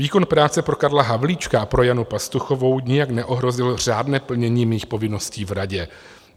Výkon práce pro Karla Havlíčka a pro Janu Pastuchovou nijak neohrozil řádné plnění mých povinností v radě.